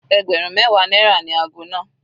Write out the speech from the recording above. Ẹgbẹ̀rún mẹwa náírà ni ago náà.